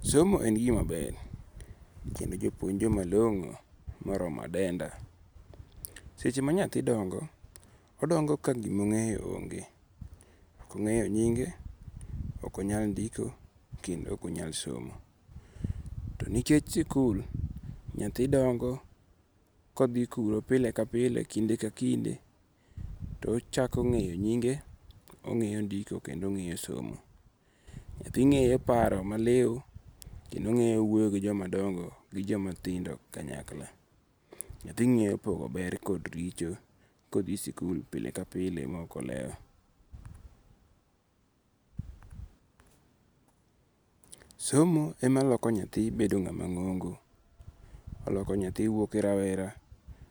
Somo en gima ber, kendo en jopunj jomalongo' moromo adenda seche ma nyathi dongo, odongo ka gima ongeyo onge' , okonge'yo nyinge', okonyal ndiko kendo okonyal somo, to nikech sikul nyathi dongo' kodhikuro pile ka pile kinde ka kinde, to ochako nge'yo nyinge', onge'yo ndiko kendo onge'yo somo, nyathi nge'yo paro maliw kendo onge'yo wuoyo gi jomadongo gi jomathindo kanyakla, nyathi nge'yo pogo ber kod richo kothi sikul pile kapile ma okolewo, somo ema loko nyathi bedo nga'ma ngo'ngo, oloko nyathi wuok e rawera to